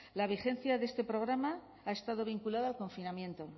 la vigencia de este programa ha estado vinculada al confinamiento